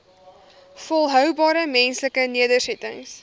volhoubare menslike nedersettings